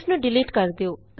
ਇਸ ਨੂੰ ਡਿਲੀਟ ਕਰ ਦਿਉ